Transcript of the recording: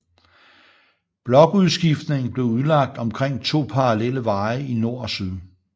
Blokudskiftningen blev udlagt omkring to parallelle veje i nord og syd